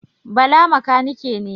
Bala makanike ne.